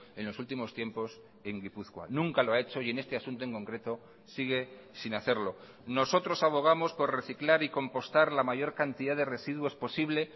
en los últimos tiempos en gipuzkoa nunca lo ha hecho y en este asunto en concreto sigue sin hacerlo nosotros abogamos por reciclar y compostar la mayor cantidad de residuos posible